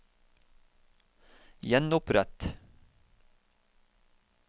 gjenopprett